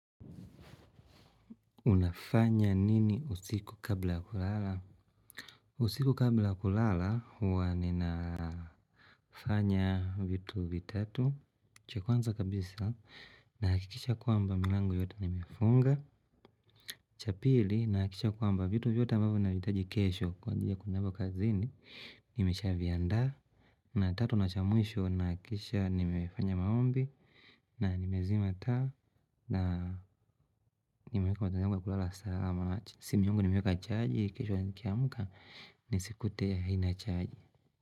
Unafanya nini usiku kabla ya kulala? Usiku kabla ya kulala huwa ninafanya vitu vitatu. Cha kwanza kabisa nahakikisha kwamba milango yote nimefunga. Cha pili nahakikisha kwamba vitu vyote ambavyo nahitaji kesho. Kwa njia kunabu kazini, nimesha viandaa. Na tatu na cha mwisho nahakikisha nimefanya maombi. Na nimezima taa na nimeweka gharama ya kulala salama simu yangu nimeweka chaji kesho nikiamka nisikute haina chaji.